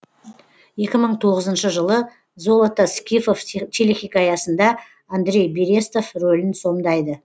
екі мың тоғызыншы жылы золото скифов телехикаясында андрей берестов рөлін сомдайды